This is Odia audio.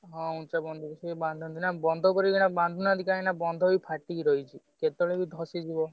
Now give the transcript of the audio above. ହଁ ସେ ବନ୍ଧ ଉପରେ ବାନ୍ଧନ୍ତି ନା ବନ୍ଧ ଉପରେ ଏଇଖିନା ବାନ୍ଧୁ ନାହାନ୍ତି କାହିଁକିନା ବନ୍ଧ ଏଇ ଫାଟି ରହିଛି। କେତବେଳେ ବି ଖସିଯିବ।